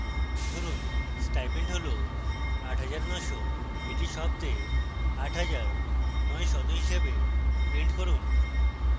ধরুন stipend হল 8900 এটি শব্দে 8 হাজার 9 শত হিসাবে প্রিন্ট করুন